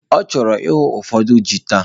Ọ chọrọ ihu ụfọdụ ji taa